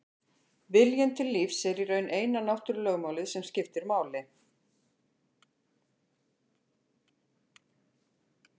Viljinn til lífs er í raun eina náttúrulögmálið sem skiptir máli.